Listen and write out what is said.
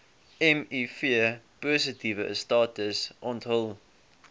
mivpositiewe status onthul